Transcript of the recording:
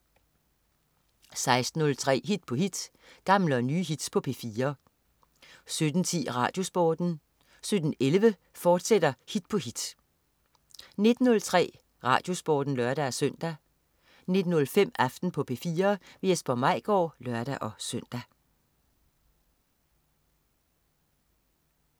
16.03 Hit på hit. Gamle og nye hits på P4 17.10 RadioSporten 17.11 Hit på hit, fortsat 19.03 RadioSporten (lør-søn) 19.05 Aften på P4. Jesper Maigaard (lør-søn)